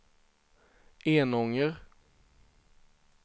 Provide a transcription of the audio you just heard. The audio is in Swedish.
Enånger